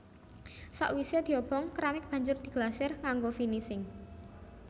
Sakwisé diobong keramik banjur diglasir kanggo finising